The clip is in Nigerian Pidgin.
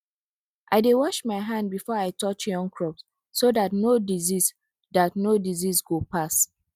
i dey wash my hand before i touch young crops so that no disease that no disease go pass